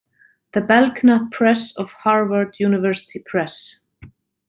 The Belknap Press of Harvard University Press.